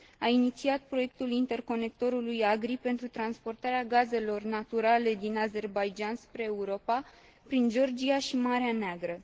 A inițiat proiectul interconectorului AGRI pentru transportarea gazelor naturale din Azerbaidjan spre Europa, prin Georgia și Marea Neagră.